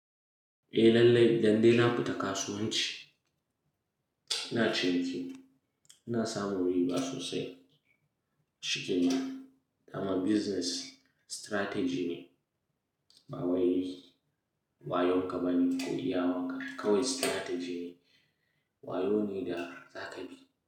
Eh lallai, dan dai na fita kasuwanci ina ciki, ina samun riba sosai shi kenan kama business strategy ne, ba wai wayonka ba ne ko iyawanka. Kawai strategy ne, wayo ne da za ka bi.